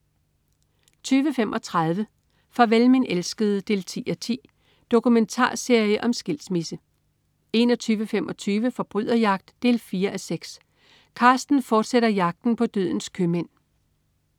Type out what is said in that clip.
20.35 Farvel min elskede 10:10. Dokumentarserie om skilsmisse 21.25 Forbryderjagt 4:6. Carsten fortsætter jagten på dødens købmænd